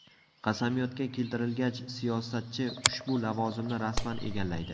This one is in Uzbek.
Qasamyodga keltirilgach, siyosatchi ushbu lavozimni rasman egallaydi.